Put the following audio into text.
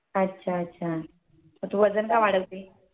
अच्छा अच्छा मग तू वजन का वाढवतेय